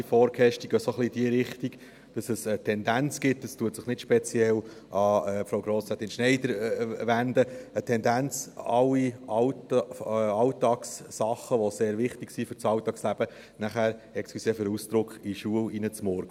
Sie gehen ein wenig in die Richtung, dass es eine Tendenz gibt, und das richtet sich nicht speziell an Frau Grossrätin Schneider, alle Alltagssachen, die sehr wichtig sind fürs Alltagsleben, in die Schule hineinzumurksen – entschuldigen Sie den Ausdruck.